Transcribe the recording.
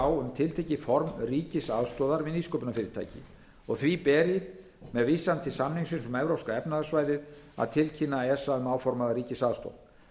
á um tiltekið form ríkisaðstoðar við nýsköpunarfyrirtæki og því beri með vísan til samningsins um evrópska efnahagssvæðið að tilkynna esa um áformaða ríkisaðstoð